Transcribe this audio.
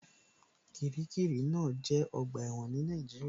Kiríkirì náà jẹ́ ọgbà ẹ̀wọ̀n ní Nàìjíríà